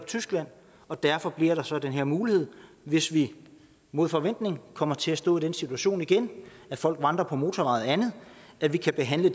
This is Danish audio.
tyskland og derfor bliver der så den her mulighed hvis vi mod forventning kommer til at stå i en situation igen hvor folk vandrer på motorveje og andet at vi kan behandle